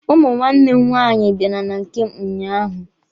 Ụmụ nwanne m nwaanyị bịara na nke m ụnyaahụ.